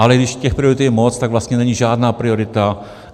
Ale když těch priorit je moc, tak vlastně není žádná priorita.